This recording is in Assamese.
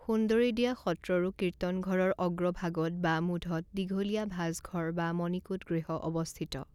সুন্দৰীদিয়া সত্ৰৰো কীৰ্তনঘৰৰ অগ্ৰভাগত বা মূধত দীঘলীয়া ভাঁজঘৰ বা মণিকূট গৃহ অৱস্থিত।